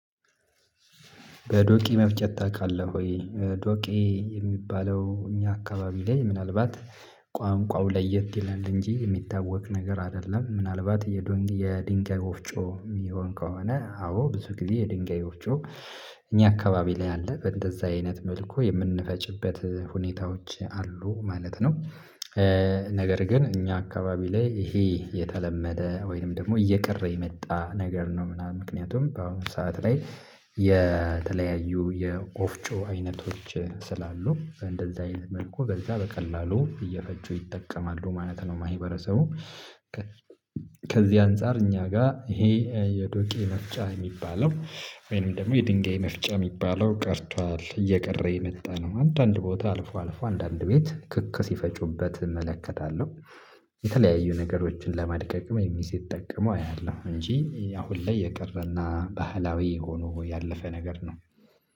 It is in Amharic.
በዶቂ መፍጨት ታውቃለህ ወይ ዶቂ የሚባለው እኛ አካባቢ ላይ ምናልባት ቋንቋው ለየት ይላል እንጂ የሚታወቅ ነገር አይደለም ምናልባት የድንጋይ ጎፍጮ የሚሆን ከሆነ አዎ ብዙ ጊዜ የድንጋይ ወፍጮ እኛ አካባቢ ላይ አለ በእንደዛ አይነት መልኩ የምንፈጭበት ሁኔታዎች አሉ ማለት ነው። ነገር ግን እኛ አካባቢ ላይ እሂ የተለመደ ወይንም ደግሞ እየቀረ የመጣ ነገር ነው ምናምን ምክንያቱም በአሁኑ ሰዓት ላይ። የተለያዩ የወፍጮ አይነቶች ስላሉ በእንደዛ አይነት መልኩ በዛ በቀላሉ እየፈጩ ይጠቀማሉ ማለት ነው። ማህበረሰቡ ከዚህ አንፃር እኛ ጋር ይሄ የዶቄ መፍጨት ሚባለው ወይም ደግሞ የድንጋይ መፍጨት የሚባለው ቀርቷል እየቀረ የመጣ ነው አንዳንድ ቦታ አልፎ አልፎ አንዳንድ ቤት ክክ ሲፈጩበት እመለከታለሁ። የተለያዩ ነገሮችን ለማድቀቅም የሚስ ሲጠቀመው አያለሁ እንጂ አሁን ላይ የቀረና ባህላዊ ሆኖ ያለፈ ነገር ነው